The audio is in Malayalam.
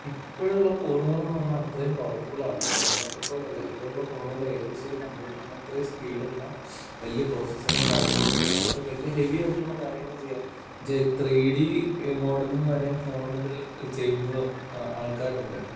ഇപ്പഴുള്ള ഫോണുകളന്ന് പറഞ്ഞാ അത്രയും പവർഫുള്ളാണ്. പണ്ടത്തെപ്പോലെ അല്ല. ഇപ്പഴുള്ള ഫോണുകള് ഏകദേശം ഒരു കമ്പ്യൂട്ടറിന്‍റെ അത്രയും സ്പീഡുള്ള വലിയ പ്രോസസ്സറും കാര്യങ്ങളൊക്കെ വച്ചിട്ട് വലിയ ഹെവിയായിട്ടുള്ള കാര്യങ്ങള് ചെയ്യാൻ എന്ന്ച്ചാ ത്രീഡി മോഡലിംഗ് വരെ ഫോണില് ചെയ്യുന്ന ആൾക്കാരുണ്ട്.